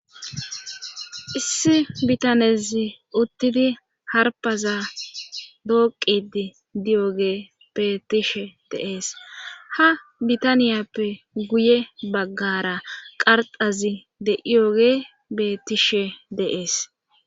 Issi bitanezi uttidi harpaza dooqidi di'oge betishe deees ha bitaniyappe guye baggara qarxazi de iyoge betishe deees.